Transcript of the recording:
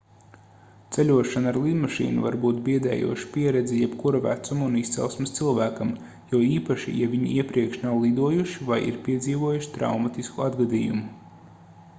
ceļošana ar lidmašīnu var būt biedējoša pieredze jebkura vecuma un izcelsmes cilvēkiem jo īpaši ja viņi iepriekš nav lidojuši vai ir piedzīvojuši traumatisku atgadījumu